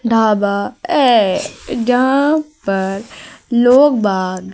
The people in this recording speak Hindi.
ढाबा ऐ जहा पर लोग बात--